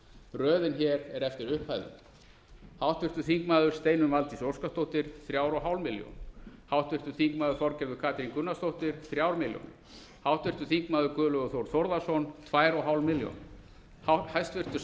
röðin hér er eftir upphæðum háttvirtir þingmenn steinunn valdís óskarsdóttir þrjár og hálf milljón háttvirtur þingmaður þorgerður katrín gunnarsdóttir þrjár milljónir háttvirtur þingmaður guðlaugur þór þórðarson tvær og hálf milljón hæstvirtur